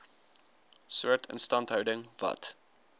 soort instandhouding wat